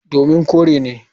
Domin kore ne.